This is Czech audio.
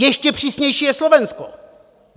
Ještě přísnější je Slovensko.